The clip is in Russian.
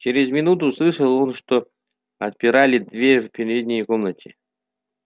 чрез минуту услышал он что отпирали дверь в передней комнате